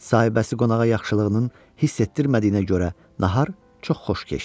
Sahibəsi qonağa yaxşılığının hiss etdirmədiyinə görə nahar çox xoş keçdi.